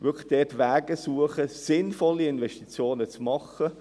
Es geht darum, Wege zu suchen, um sinnvolle Investitionen zu tätigen.